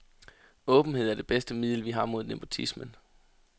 Åbenhed er det bedste middel, vi har mod nepotismen.